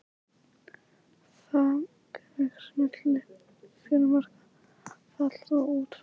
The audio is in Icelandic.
Þang vex milli fjörumarka aðfalls og útfalls.